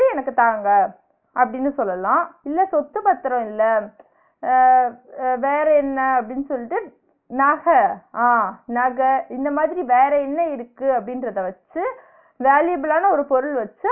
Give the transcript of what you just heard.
எனக்கு தாங்க அப்பிடின்னு சொல்லலா இல்ல சொத்து பத்திரோ இல்ல அஹ் அஹ் வேற என்ன அப்டின்னு சொல்லிட்டு நக ஆஹ் நக இந்த மாதிரி வேற என்ன இருக்கு அப்பிடின்றத வச்சு valuable ஆனா ஒரு பொருள் வச்சி